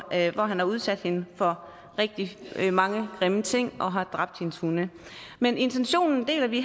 at han har udsat hende for rigtig mange grimme ting og har dræbt hendes hunde men intentionen deler vi